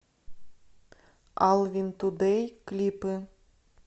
алвинтудэй клипы